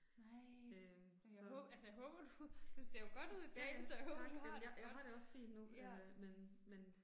Nej. Men jeg altså jeg håber du, du ser jo godt ud i dag så jeg håber du har det ja